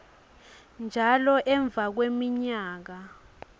njalo emva kweminyaka